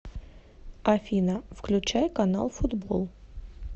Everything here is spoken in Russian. афина включай канал футбол